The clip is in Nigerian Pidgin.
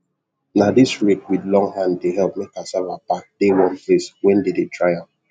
na this rake with long hand dey help make cassava back dey one place wen dey dry am